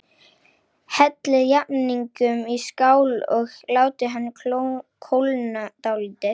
Hellið jafningnum í skál og látið hann kólna dálítið.